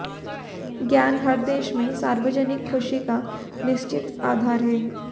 ज्ञान हर देश में सार्वजनिक खुशी का निश्चित आधार है